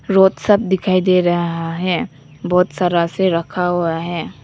Road सब दिखाई दे रहा है बहुत सा रास्सी रखा हुआ है।